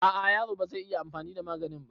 A a yaro bazai iya anfani da maganin ba